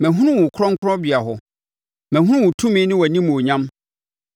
Mahunu wo wɔ Kronkronbea hɔ mahunu wo tumi ne wʼanimuonyam.